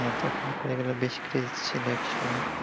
হ্যাঁ তখন তো এগুলো বেশি craze ছিল একসময়ে